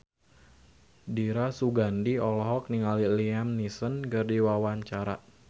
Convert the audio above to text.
Dira Sugandi olohok ningali Liam Neeson keur diwawancara